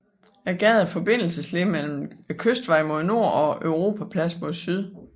Gaden er forbindelsesled mellem Kystvejen mod nord og Europaplads mod syd